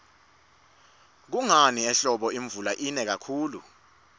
kungani ehlobo imvula ina kakhuli